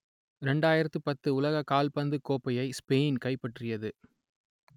இரண்டாயிரத்து பத்து உலக கால்பந்து கோப்பையை ஸ்பெயின் கைப்பற்றியது